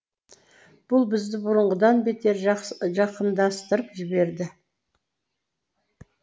бұл бізді бұрынғыдан бетер жақындастырып жіберді